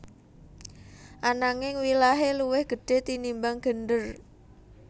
Ananging wilahé luwih gedhé tinimbang gendèr